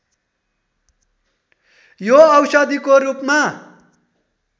यो औषधिको रूपमा